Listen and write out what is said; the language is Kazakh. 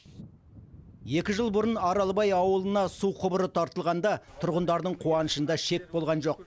екі жыл бұрын аралбай ауылына су құбыры тартылғанда тұрғындардың қуанышында шек болған жоқ